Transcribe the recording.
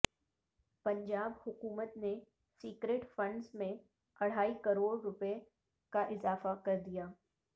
پنجاب حکومت نے secret funds میں اڑھائی کروڑ روپے کا اضافہ کر دیا